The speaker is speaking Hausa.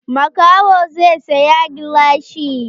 Makahon zai saya gilashi.